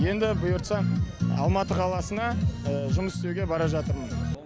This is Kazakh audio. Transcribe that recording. енді бұйыртса алматы қаласына жұмыс істеуге бара жатырмын